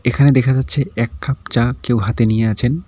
এখানে দেখা যাচ্ছে এক কাপ চা কেউ হাতে নিয়ে আছেন।